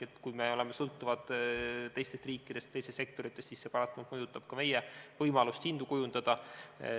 Ehk kui me oleme sõltuvad teistest riikidest, teistest sektoritest, siis see paratamatult mõjutab ka meie võimalust hindu kujundada.